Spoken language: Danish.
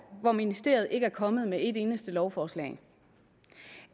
hvor ministeriet ikke er kommet med et eneste lovforslag